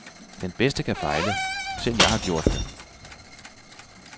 Den bedste kan fejle, selv jeg har gjort det.